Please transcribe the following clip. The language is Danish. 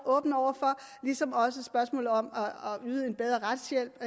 åben over for ligesom også spørgsmålet om at yde en bedre retshjælp